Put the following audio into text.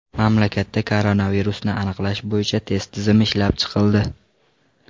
Mamlakatda koronavirusni aniqlash bo‘yicha test tizimi ishlab chiqildi.